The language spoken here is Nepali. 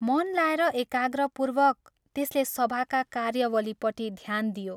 मन लाएर एकाग्रपूर्वक त्यसले सभाका कार्यावलीपट्टि ध्यान दियो।